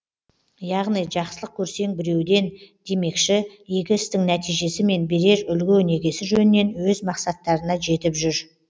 яғни жақсылық көрсең біреуден демекші игі істің нәтижесі мен берер үлгі өнегесі жөнінен өз мақсаттарына жетіп жүр